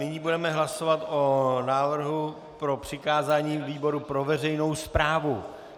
Nyní budeme hlasovat o návrhu na přikázání výboru pro veřejnou správu.